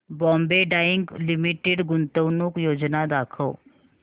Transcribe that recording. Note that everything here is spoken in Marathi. बॉम्बे डाईंग लिमिटेड गुंतवणूक योजना दाखव